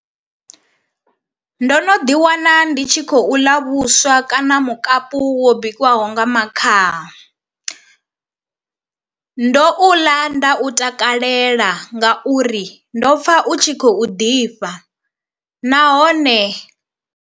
Ndo no ḓi wana ndi tshi khou ḽa vhuswa kana mukapu wo bikiwaho nga makhaha ndo u ḽa nda u takalela ngauri ndo pfa u tshi khou ḓifha nahone.